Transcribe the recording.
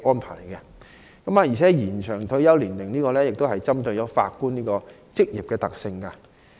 此外，延長退休年齡針對法官一職的特性。